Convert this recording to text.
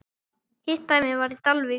Hitt dæmið var í Dalvík.